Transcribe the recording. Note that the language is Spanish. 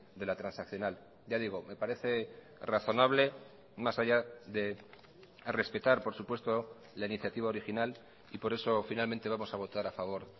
de la transaccional ya digo me parece razonable más allá de respetar por supuesto la iniciativa original y por eso finalmente vamos a votar a favor